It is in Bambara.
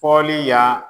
Fɔli ya